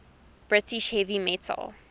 british heavy metal